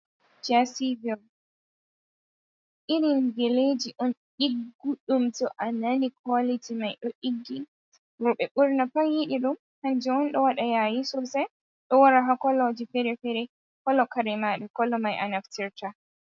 Jesi vel, irin geleji on ɗigguɗum to a nani kwaliti mai ɗo ɗiggi, roɓe ɓurna pat yiɗi ɗum hanjewon ɗo waɗa yayi sosai, ɗo wara hakoloji ferefere kolo kare maɗa kolo mai a naftirta.